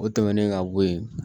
O tɛmɛnen ka bɔ yen